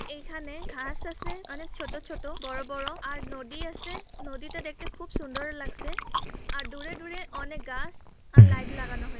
এখানে ঘাস আসে অনেক ছোট ছোট বড় বড় আর নদী আসে নদীতে দেখতে খুব সুন্দর লাগসে আর দূরে দূরে অনেক গাছ আর লাইট লাগানো হয়ে--